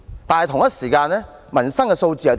但是，同一時間的民生數字如何？